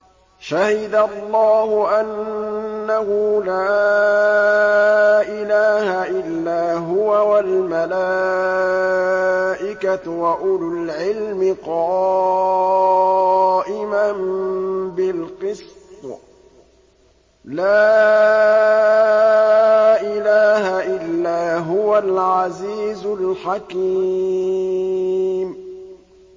شَهِدَ اللَّهُ أَنَّهُ لَا إِلَٰهَ إِلَّا هُوَ وَالْمَلَائِكَةُ وَأُولُو الْعِلْمِ قَائِمًا بِالْقِسْطِ ۚ لَا إِلَٰهَ إِلَّا هُوَ الْعَزِيزُ الْحَكِيمُ